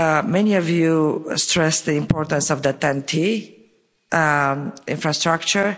Many of you stressed the importance of the TEN T infrastructure.